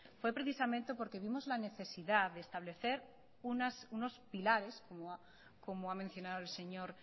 fue precisamente porque vimos la necesidad de establecer unos pilares como ha mencionado el señor